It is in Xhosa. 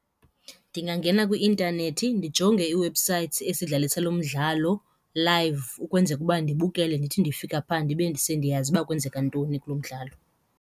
Ndingangena kwi-intanethi ndijonge ii-websites esidlalisa lo mdlalo live ukwenzeka uba ndibukele ndithi ndifika phaa ndibe sendiyazi uba kwenzeka ntoni kulo mdlalo.